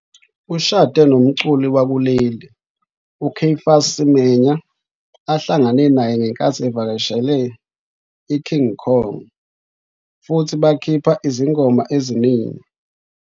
Ushade nomculi wakuleli, uCaiphus Semenya, ahlangane naye ngenkathi evakashele neKing Kong futhi bakhipha izingoma eziningi.